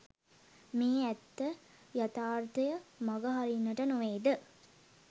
මේ ඇත්ත යථාර්ථය මගහරින්නට නොවේද?